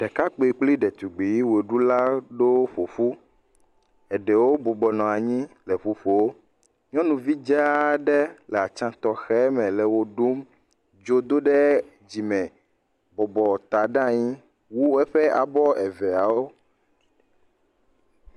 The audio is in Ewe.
Ɖekakpui kple ɖetugbui ɣeɖula aɖewo ƒoƒu ɖewo bɔbɔ nɔ anyi le ʋuƒom nyɔnuvi dzaa aɖe le atsya tɔxɛme le wɔɖum dzo doɖe dzime bɔbɔ ta ɖe anyi wu eƒe abɔ eveawo